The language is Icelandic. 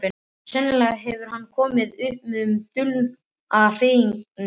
Sennilega hefur hann komið upp um dulda hrifningu sína.